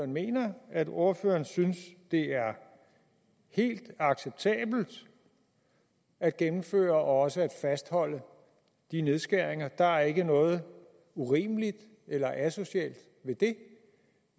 mener at ordføreren synes det er helt acceptabelt at gennemføre og også at fastholde de nedskæringer at der ikke er noget urimeligt eller asocialt ved det